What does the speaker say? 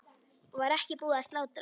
Var ekki búið að slátra?